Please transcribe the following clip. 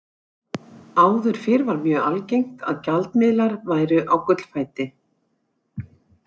Áður fyrr var mjög algengt að gjaldmiðlar væru á gullfæti.